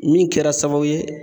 Min kɛra sababu ye